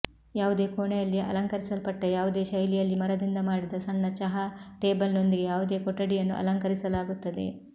ಯಾವುದೇ ಕೋಣೆಯಲ್ಲಿ ಅಲಂಕರಿಸಲ್ಪಟ್ಟ ಯಾವುದೇ ಶೈಲಿಯಲ್ಲಿ ಮರದಿಂದ ಮಾಡಿದ ಸಣ್ಣ ಚಹಾ ಟೇಬಲ್ನೊಂದಿಗೆ ಯಾವುದೇ ಕೊಠಡಿಯನ್ನು ಅಲಂಕರಿಸಲಾಗುತ್ತದೆ